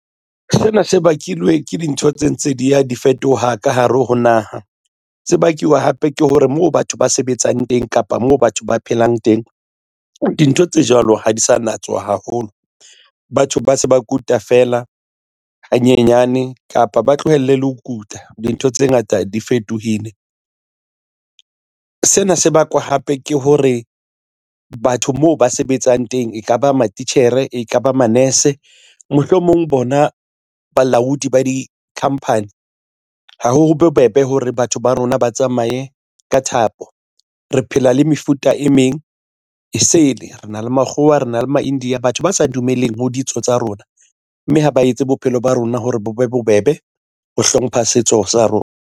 Sena se bakilwe ke dintho tse ntse di ya di fetoha ka hare ho naha. Se bakiwa hape ke hore moo batho ba sebetsang teng kapa moo batho ba phelang teng dintho tse jwalo ha di sa natswe haholo. Batho ba se ba kuta feela hanyenyane kapa ba tlohelle le ho kuta dintho tse ngata di fetohile. Sena se bakwa hape ke hore batho moo ba sebetsang teng ekaba matitjhere e kaba manase mohlomong bona balaodi ba dikhampani. Ha ho bobebe hore batho ba rona ba tsamaye ka thapo. Re phela le mefuta e meng esele rena le makgowa a rena le Maindia. Batho ba sa dumelleng ho ditso tsa rona mme ha ba etse bophelo ba rona hore bo be bobebe ho hlompha setso sa rona.